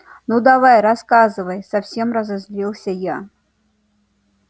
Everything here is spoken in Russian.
ну давай рассказывай совсем разозлился я